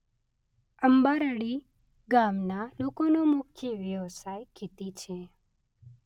અંબારડી ગામના લોકોનો મુખ્ય વ્યવસાય ખેતી છે.